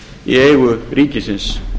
í eigu ríkisins